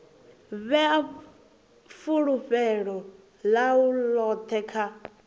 vhea fulufhelo ḽawe ḽoṱhe kha